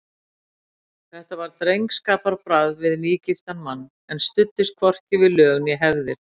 Þetta var drengskaparbragð við nýgiftan mann, en studdist hvorki við lög né hefðir.